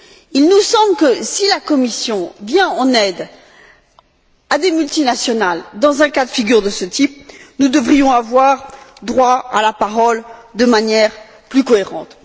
Il nous semble que, si la Commission vient en aide à des multinationales dans un cas de figure de ce type, nous devrions avoir droit à la parole de manière plus cohérente.